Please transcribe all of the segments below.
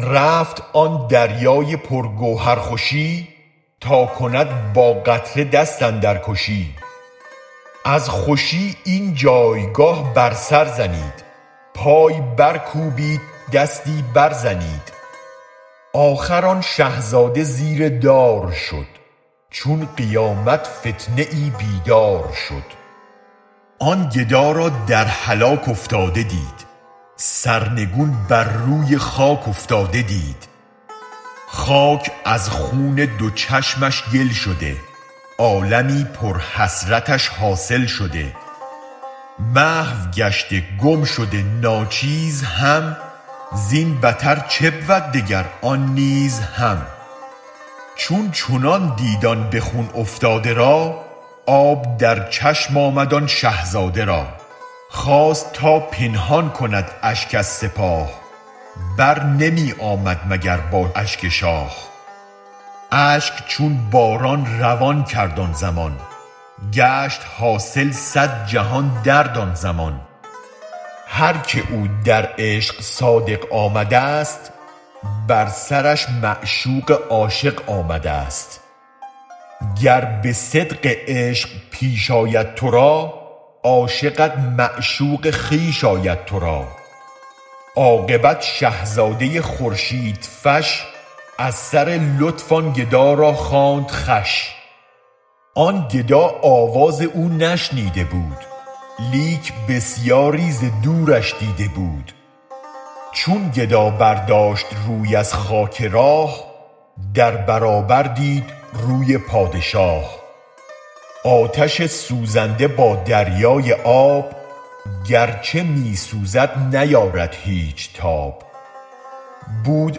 رفت آن دریای پر گوهر خوشی تا کند با قطره دست اندرکشی از خوشی این جایگه بر سر زنید پای برکوبید دستی برزنید آخر آن شه زاده زیر دار شد چون قیامت فتنه بیدار شد آن گدا را در هلاک افتاده دید سرنگون بر روی خاک افتاده دید خاک از خون دو چشمش گل شده عالمی پر حسرتش حاصل شده محو گشته گم شده ناچیز هم زین بتر چه بود دگر آن نیز هم چون چنان دید آن به خون افتاده را آب در چشم آمد آن شه زاده را خواست تا پنهان کند اشک از سپاه بر نمی آمد مگر با اشک شاه اشک چون باران روان کرد آن زمان گشت حاصل صد جهان درد آن زمان هرک او در عشق صادق آمدست بر سرش معشوق عاشق آمدست گر به صدق عشق پیش آید ترا عاشقت معشوق خویش آید ترا عاقبت شه زاده خورشید فش از سر لطف آن گدا را خواند خوش آن گدا آواز او نشنیده بود لیک بسیاری ز دورش دیده بود چون گدا برداشت روی از خاک راه در برابر دید روی پادشاه آتش سوزنده با دریای آب گرچه می سوزد نیارد هیچ تاب بود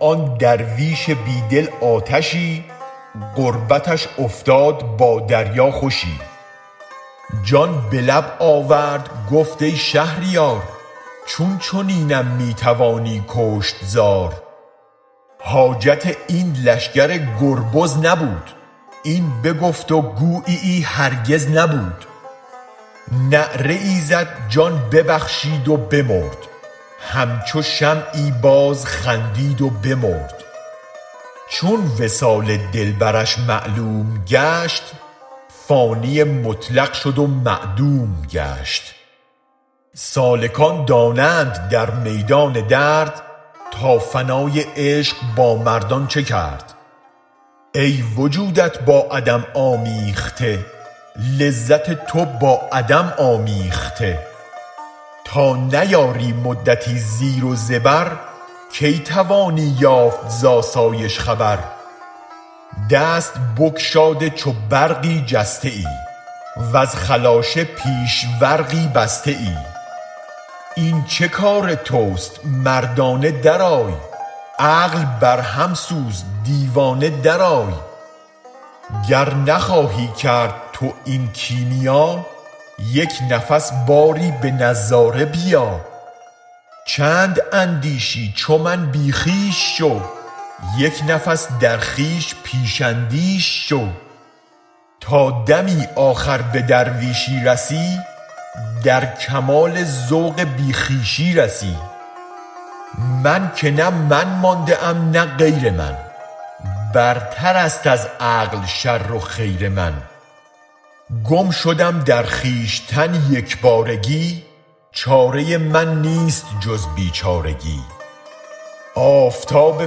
آن درویش بی دل آتشی قربتش افتاد با دریا خوشی جان به لب آورد گفت ای شهریار چون چنینم می توانی کشت زار حاجت این لشگر گربز نبود این بگفت و گوییی هرگز نبود نعره ای زد جان ببخشید و بمرد همچو شمعی باز خندید و بمرد چون وصال دلبرش معلوم گشت فانی مطلق شد و معدوم گشت سالکان دانند در میدان درد تا فنای عشق با مردان چه کرد ای وجودت با عدم آمیخته لذت تو با عدم آمیخته تا نیاری مدتی زیر و زبر کی توانی یافت ز آسایش خبر دست بگشاده چو برقی جسته ای وز خلاشه پیش ورغی بسته ای این چه کارتست مردانه درآی عقل برهم سوز دیوانه درآی گر نخواهی کرد تو این کیمیا یک نفس باری بنظاره بیا چند اندیشی چو من بی خویش شو یک نفس در خویش پیش اندیش شو تا دمی آخر به درویشی رسی در کمال ذوق بی خویشی رسی من که نه من مانده ام نه غیر من برتر است از عقل شر و خیر من گم شدم در خویشتن یک بارگی چاره من نیست جز بیچارگی آفتاب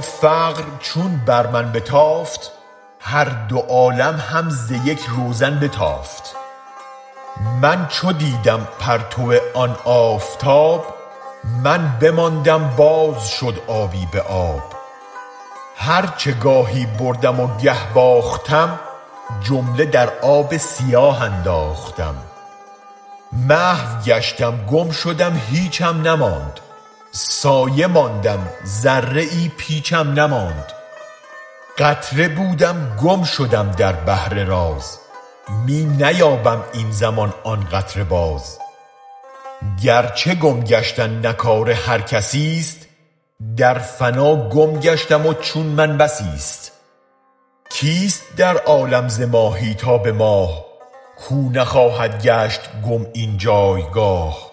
فقر چون بر من بتافت هر دو عالم هم ز یک روزن بتافت من چو دیدم پرتو آن آفتاب من بماندم باز شد آبی به آب هرچ گاهی بردم و گه باختم جمله در آب سیاه انداختم محو گشتم گم شدم هیچم نماند سایه ماندم ذره پیچم نماند قطره بودم گم شدم در بحر راز می نیابم این زمان آن قطره باز گرچه گم گشتن نه کار هر کسیست در فنا گم گشتم و چون من بسیست کیست در عالم ز ماهی تا به ماه کو نخواهد گشت گم این جایگاه